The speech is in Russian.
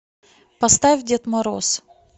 поставь дед мороз